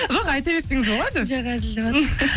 жоқ айта берсеңіз болады жоқ